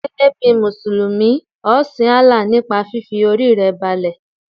Gẹ́gẹ́ bí Mùsùlùmí, ọ sin Allah nípa fífi Orí rẹ balẹ̀.